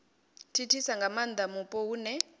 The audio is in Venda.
thithisa nga maanda mupo hune